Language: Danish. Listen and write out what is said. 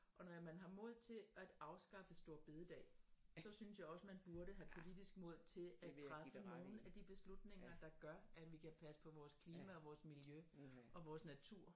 Og når man har mod til at afskaffe store bededag så synes jeg også man burde have politisk mod til at træffe nogle af de beslutninger der gør at vi kan passe på vores klima og vores miljø og vores natur